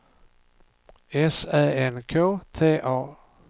S Ä N K T A